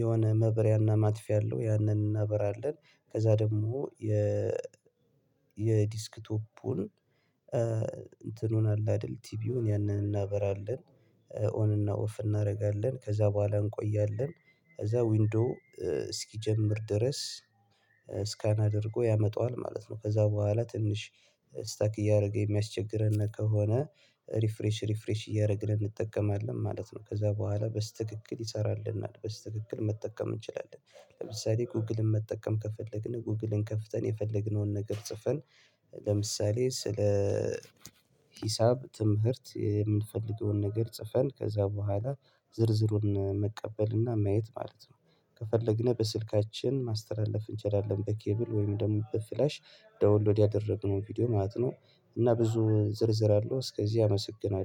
የሆነ ማብሪያና ማጥፊያ አለው። ያንን እናበራለን ከዛ ደግሞ የ የዲስክቶፑን እንትኑን አለ አይደል ቲቪውን ያንን እናበራለን ኦን እና ኦፍ እናደርጋለን ከዛ በኋላ እንቆያለን ከዛ ዊንዶው እስኪጀምር ድረስ አድርጎ ያመጣዋል ማለት ነው። ከዛ በኋላ ትንሽ ስታክ እያደረገ የሚያስቸግረን ከሆነ ሪፍሬሽ ሪፍሬሽ እያደረግን እንጠቀማለን ማለት ነው። ከዛ በኋላ በስተክክል ይሰራልና በስተክክል መጠቀም እንችላለን። ለምሳሌ ጎግልን መጠቀም ከፈለግን ጉግልን ከፍተን የፈለግነውን ነገር ጽፈን ለምሳሌ ስለ ሂሳብ ትምህርት የምንፈልገውን ነገር ጽፈን ከዛ በኋላ ዝርዝሩን መቀበል እና ማየት ማለት ነው። ከፈለግን በስልካችን ማስተላለፍ እንችላለን በኬብል ወይም ደግሞ በፍላሽ ደዉሎድ ያደረግነው ቪዲዮ ማለት ነው። እና ብዙ ዝርዝር አለው እስከዚህ አመሰግናለሁ